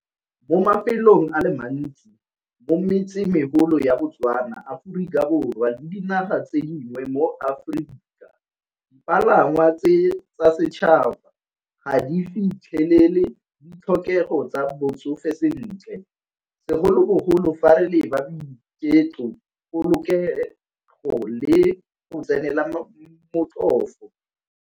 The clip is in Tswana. Mo mafelong a le mantsi mo metsemegolo ya Botswana, Aforika Borwa le di diga tsenngwe mo Aforika dipalangwa tse tsa setšhaba ga di fitlhelele ditlhokego tsa botsofe sentle segolobogolo fa re leba boiketlo polokego le go tsenela motlhofo.